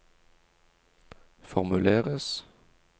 formuleres